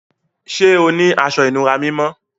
Ṣẹ́ ọ ni àṣọ-ìnúrà mímọ́?